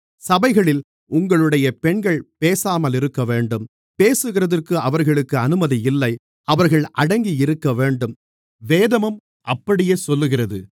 சபைகளில் உங்களுடைய பெண்கள் பேசாமலிருக்கவேண்டும் பேசுகிறதற்கு அவர்களுக்கு அனுமதி இல்லை அவர்கள் அடங்கியிருக்கவேண்டும் வேதமும் அப்படியே சொல்லுகிறது